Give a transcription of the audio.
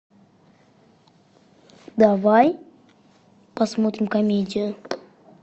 давай посмотрим комедию